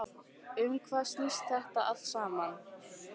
Um hvað snýst þetta allt saman?